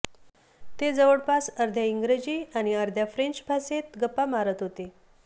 ते जवळपास अर्ध्या इंग्रजी आणि अर्ध्या फ्रेंच भाषेत गप्पा मारत होते